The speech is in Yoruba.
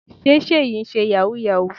Sé Seyi ń ṣe yahoo yahoo.